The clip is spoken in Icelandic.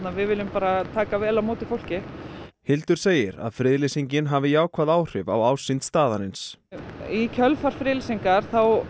við viljum taka vel á móti fólki Hildur segir að friðlýsing hafi jákvæð áhrif á ásýnd staðarins í kjölfar friðlýsingar